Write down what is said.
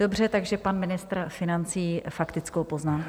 Dobře, takže pan ministr financí faktickou poznámku.